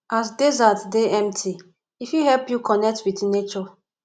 as desert dey empty e fit help you connect wit nature